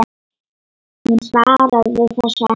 Hún svaraði þessu ekki.